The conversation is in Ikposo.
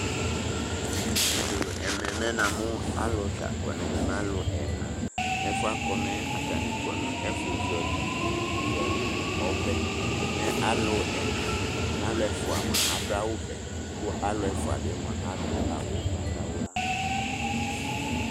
Ɛmɛ mɛ namu alu ta akɔ nʋ ɛmɛ, mɛ alu ɛna Ɛfʋɛ akɔ mɛ atani kɔ nʋ ɛfʋzɔlɩ ivu nʋ ɔvɛ Mɛ alu ɛna, alu ɛfʋa mua adu awuvɛ kʋ alu ɛfʋa bɩ mua adu awu ugbatawla